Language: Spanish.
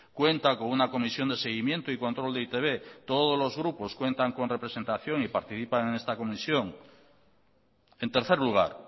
cuenta con una comisión de seguimiento y control de e i te be todos los grupos cuentan con representación y participan en esta comisión en tercer lugar